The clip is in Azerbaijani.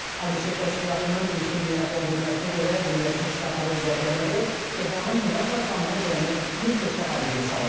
ABŞ kəşfiyyatının ilkin qiymətləndirməsinə görə, Birləşmiş Ştatların zərbələri Tehranın nüvə proqramını cəmi bir neçə ay geri salıb.